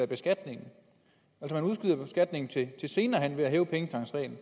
beskatningen til senere hen ved at hæve pengetankreglen